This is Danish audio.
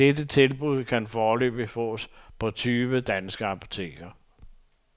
Det tilbud kan foreløbig fås på tyve danske apoteker.